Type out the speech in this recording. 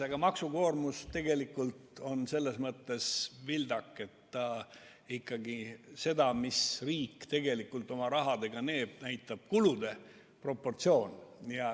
Aga maksukoormus on selles mõttes vildak, et seda, mida riik tegelikult rahaga teeb, näitab hoopis kulude proportsioon.